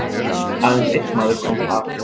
Aðeins einn maður komst af.